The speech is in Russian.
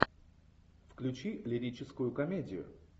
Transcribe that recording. включи лирическую комедию